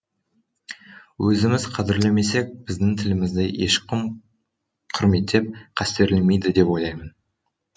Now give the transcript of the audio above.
өзіміз қадірлемесек біздің тілімізді ешкім құрметтеп қастерлемейді деп ойлаймын